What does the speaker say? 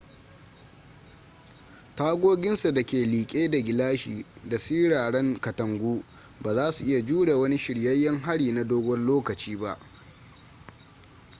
tagoginsa da ke liƙe da gilashi da siraran katangu ba za su iya jure wani shiryayyen hari na dogon lokaci ba